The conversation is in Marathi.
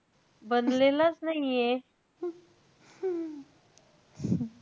बनलेलंच नाईये.